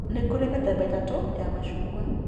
Nĩ kũrĩ mĩthemba ĩtatũ ya macungwa